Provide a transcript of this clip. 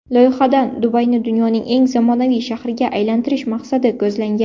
Loyihadan Dubayni dunyoning eng zamonaviy shahriga aylantirish maqsadi ko‘zlangan.